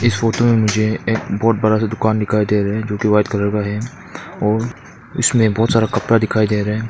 इस फोटो में मुझे एक बहुत बड़ा सा दुकान दिखाई दे रहा है जोकि व्हाइट कलर का है और उसमें बहुत सारा कपड़ा दिखाई दे रहा है।